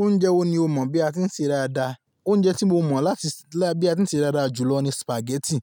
Oúnjẹ wo ni o mọ̀ bí a ti ń ṣe dáadáa? Oúnjẹ tí mo mọ̀ láti, láti bí a ti ń ṣe dáadáa jù lọ ni spaghetti.